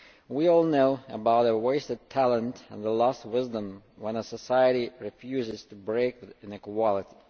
We all know about the wasted talent and the lost wisdom when a society refuses to break with inequality.